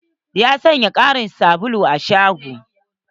Ya saya ƙarin sabulu a shagon.